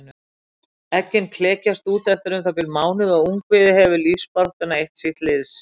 Eggin klekjast út eftir um það bil mánuð og ungviðið hefur lífsbaráttuna eitt síns liðs.